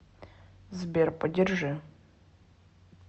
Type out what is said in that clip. сбер подержи